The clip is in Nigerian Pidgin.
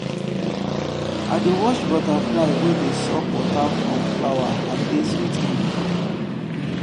i dey watch butterfly wey dey suck water from flower and e dey sweet me.